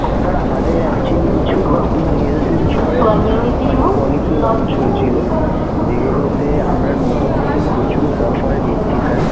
sir আমাদের actually কিছু নতুন health insurance মানে policy launch হয়েছিলো, যেগুলোতে আমরা নতুন নতুন প্রচুর offer দিচ্ছি sir